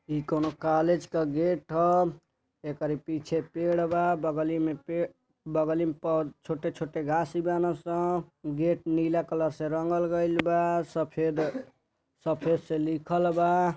इ कउनो कॉलेज क गेट ह। एकरी पीछे पेड़ बा बगली में पेड़ बगली में छोटे छोटे घास बाना सं गेट नीला कलर से रंगल गईल बा सफेद सफेद से लिखल बा।